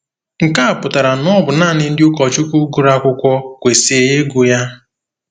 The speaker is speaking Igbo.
Nke a pụtara na ọ bụ nanị ndị ụkọchukwu gụrụ akwụkwọ kwesịrị ịgụ ya.